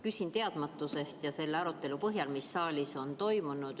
Küsin teadmatusest ja selle arutelu põhjal, mis saalis on toimunud.